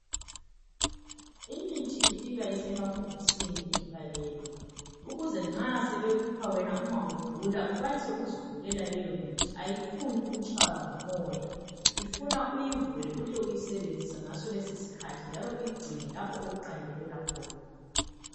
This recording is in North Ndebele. Imithi ifika isemabhokisini ivalelwe ukuze nxa sebekupha wena uma ugula ukwanise ukuzivulela leyomithi ayifuni ukutshaywa ngumoya ifuna uyivule uhle uyisebenzise ngaso lesi skhathi njalo uyigcine lapho okuqandelela khona